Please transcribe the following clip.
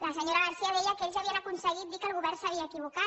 la senyora garcía deia que ells havien aconseguit dir que el govern s’havia equivocat